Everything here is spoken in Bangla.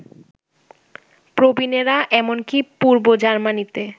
প্রবীণেরা এমনকি পূর্ব জার্মানিতে